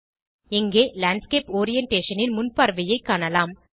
இங்கே landscape orientation ன் முன்பார்வையைக் காணலாம்